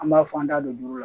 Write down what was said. An b'a fɔ an da don la